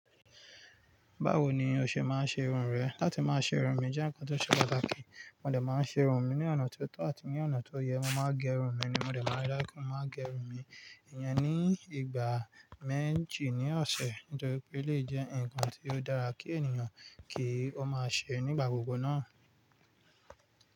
Báwo ni o ṣe máa ń ṣe irun rẹ? Látí máa ṣe irun mí jẹ́ ǹkan tó ṣe pàtàkì. Mó de máa ń ṣe irun mi ní ọ̀nà tó tọ́ àti ní ọ̀nà tó yẹ. Mo máa gẹ irun mi ni mó de máa rí dáńkú. Mó máa gẹ irun mi ìyẹn ní ìgbà méjì ní ọ̀sẹ̀ nítorí pé eléyìí jẹ́ ǹkan tí ó dára kí ènìyàn kí ó máa ṣe nígbà gbogbo náà.